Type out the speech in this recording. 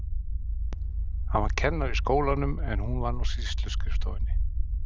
Hann var kennari í skólanum en hún vann á sýsluskrifstofunni.